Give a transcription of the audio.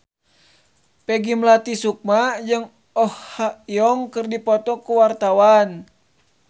Peggy Melati Sukma jeung Oh Ha Young keur dipoto ku wartawan